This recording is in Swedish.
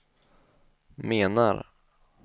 menar